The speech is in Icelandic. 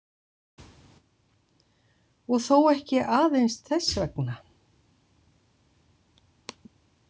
Og þó ekki aðeins þess vegna.